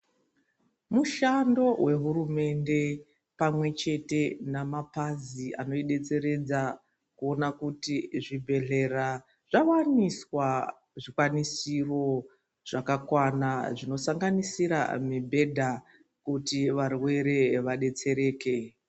Mushando wehurumende pamwechete namapazi anoidetseredza kuona kuti zvibhehlera zvawaniswa zvikwanisiro zvakakwana zvinosanganisira mibhedha kuti varwere vadetsereke.